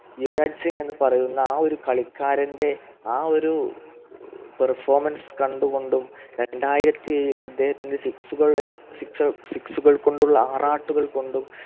യുവരാജ് സിംഗ് എന്ന് പറയുന്ന ഒരു കളിക്കാരൻ്റെ ആ ഒരു Perfomance കണ്ടുകൊണ്ടും രണ്ടായിരത്തി ഏഴിൽ അദ്ദേഹത്തിൻ്റെ Six കൾ Six Six കൾകൊണ്ടുള്ള ആറാട്ടുകൾ കൊണ്ടും